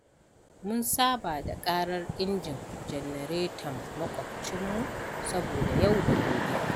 Mun saba da ƙarar injin janareton makwabcinmu saboda yau da gobe.